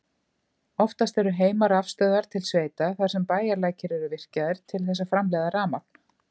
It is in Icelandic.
Oftast eru heimarafstöðvar til sveita þar sem bæjarlækir eru virkjaðir til þess að framleiða rafmagn.